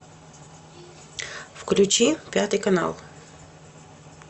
включи пятый канал